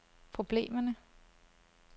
problemerne